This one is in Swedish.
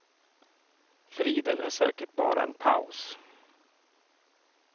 Friden är säkert bara en paus.